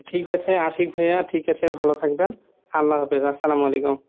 ঠিকাছে আশিক ভাইয়া ঠিকাছে ভালো থাকবেন, আল্লাহ হাফেজ , আস্সালামালাইকুম।